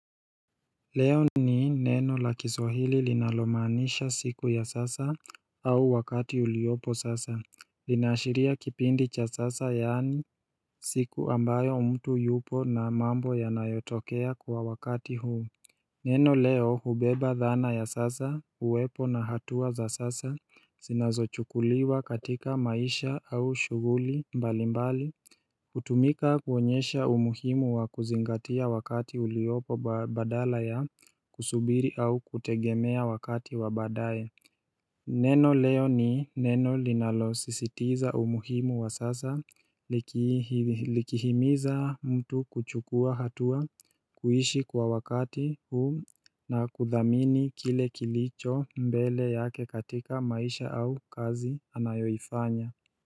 Leo ni neno la kiswahili linalomaanisha siku ya sasa au wakati uliopo sasa Linaashiria kipindi cha sasa yaani siku ambayo mtu yupo na mambo yanayotokea kwa wakati huu Neno leo hubeba dhana ya sasa uwepo na hatua za sasa zinazochukuliwa katika maisha au shughuli mbali mbali hutumika kuonyesha umuhimu wa kuzingatia wakati uliopo badala ya kusubiri au kutegemea wakati wa baadae Neno leo ni neno linalosisitiza umuhimu wa sasa likihimiza mtu kuchukua hatua kuishi kwa wakati huu na kudhamini kile kilicho mbele yake katika maisha au kazi anayoifanya.